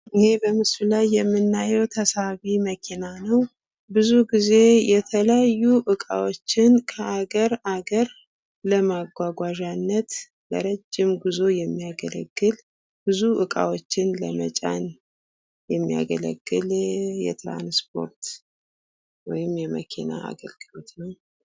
ይህ በምስሉ ላይ የምናየዉ ተሳቢ መኪና ነዉ። ብዙ ጊዜ የተለያዩ እቃዎችን ከአገር አገር ለማጓጓዣነት ለረዥም ጉዙ የሚያገለግል ብዙ እቃዎችን ለመጫን የሚያገለግል ወይም የትራንስፖርት የመኪና አይነት ነዉ።